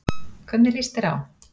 Hvernig líst þér á?